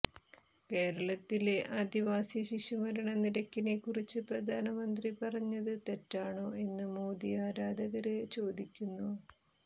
കേരളത്തിലെ ആദിവാസി ശിശുമരണ നിരക്കിനെ കുറിച്ച് പ്രധാനമന്ത്രി പറഞ്ഞത് തെറ്റാണോ എന്ന് മോദി ആരാധകര് ചോദിക്കുന്നു